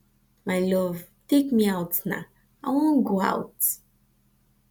my love take me out naa i wan go out